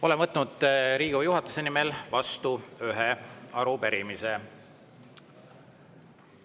Olen võtnud Riigikogu juhatuse nimel vastu ühe arupärimise.